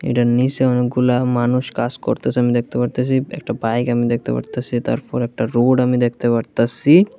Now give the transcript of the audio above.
এইটার নীচে অনেকগুলা মানুষ কাজ করতাসে আমি দেখতে পারতাসি একটা বাইক আমি দেখতে পারতাসি তারপর একটা রোড আমি দেখতে পারতাসি।